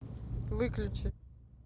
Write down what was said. выключи